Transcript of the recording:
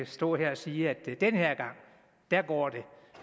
stå her og sige at den her gang går